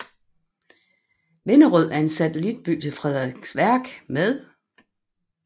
Vinderød er en satellitby til Frederiksværk med